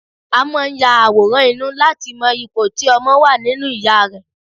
A máa ń ya àwòrán inú láti mọ ipò tí ọmọ wà nínú ìya rẹ̀